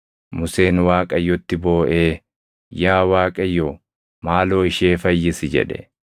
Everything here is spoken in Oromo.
Museen Waaqayyotti booʼee, “Yaa Waaqayyo, maaloo ishee fayyisi!” jedhe.